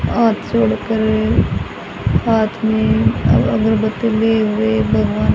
और हाथ में अ अगरबत्ती लिए हुए भगवान--